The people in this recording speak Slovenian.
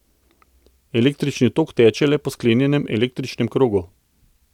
Električni tok teče le po sklenjenem električnem krogu.